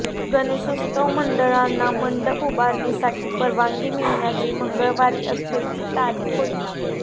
गणेशोत्सव मंडळांना मंडप उभारणीसाठी परवानगी मिळण्याची मंगळवारी अखेरची तारीख होती